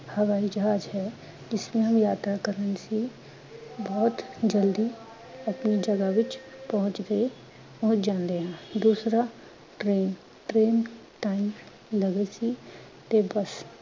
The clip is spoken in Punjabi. ਹਵਾਈ ਜਹਾਜ ਹੈ ਜਿਸ ਨੇ ਯਾਤਰਾ ਕਰਨੀ ਸੀ ਬਹੁਤ ਜਲਦੀ ਅਪਨੀ ਜਗਾਹ ਵਿਚ ਪਹੁੰਚ ਗਏ ਪਹੁੰਚ ਜਾੰਦੇ ਹਾਂ, ਦੂਸਰਾ train, train time ਲਵੇ ਸੀ ਤੇ ਬਸ